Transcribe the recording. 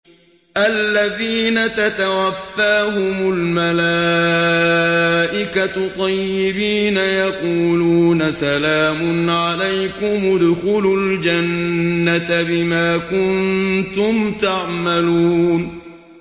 الَّذِينَ تَتَوَفَّاهُمُ الْمَلَائِكَةُ طَيِّبِينَ ۙ يَقُولُونَ سَلَامٌ عَلَيْكُمُ ادْخُلُوا الْجَنَّةَ بِمَا كُنتُمْ تَعْمَلُونَ